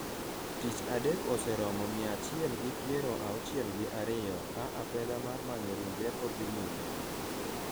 tich adek oseromo mia achiel gi piero auchiel gi ariyo ,ka apedha mar manyo ringre pod dhi nyime